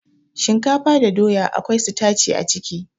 Shinkafa da doya akwai sitaci a ciki